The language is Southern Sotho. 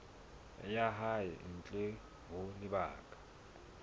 ya hae ntle ho lebaka